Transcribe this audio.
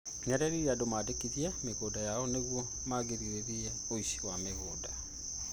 Nĩ erire andũ mandĩkithie mĩgũnda yao nĩguo kũgirĩrĩrĩa ũici wa mĩgũnda